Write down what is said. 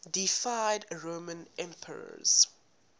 deified roman emperors